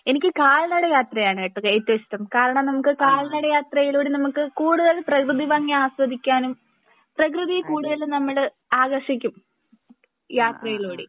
എനിക്ക് കാൽനട യാത്രയാണ് ട്ടോ ഏറ്റവും ഇഷ്ട്ടം കാരണം നമുക്ക് കാല്നട യാത്രയിലൂടെ നമുക്ക് കൂടുതൽ പ്രകൃതി ഭംഗി ആസ്വദിക്കാനും പ്രകൃതി കൂടുതലും നമ്മളെ ആകർഷിക്കും യാത്രയിലൂടെ